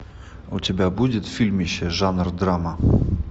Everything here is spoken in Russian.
у тебя будет фильмище жанр драма